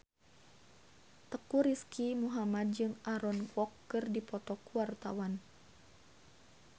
Teuku Rizky Muhammad jeung Aaron Kwok keur dipoto ku wartawan